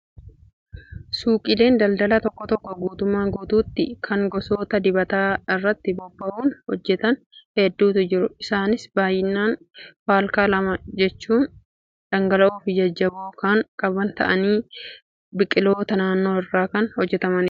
Suuqiileen daldalaa tokko tokko guutumaa guutuutti kan gosoota dibataa irratti bobba'uun hojjatan hedduutu jiru. Isaanis baay'inaan faalkaa lama jechuun dhangala'oo fi jajjaboo kan qaban ta'anii biqiloota naannoo irraa kan hojjatamanidha.